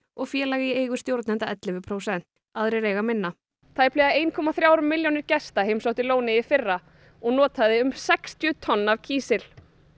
og félag í eigu stjórnenda ellefu prósent aðrir eiga minna tæplega ein komma þrjár milljónir gesta heimsóttu lónið í fyrra og notuðu um sextíu tonn af kísil